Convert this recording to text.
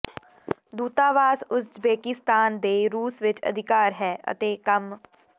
ਦੂਤਾਵਾਸ Uzbekistan ਦੇ ਰੂਸ ਵਿਚ ਅਧਿਕਾਰ ਹੈ ਅਤੇ ਕੰਮ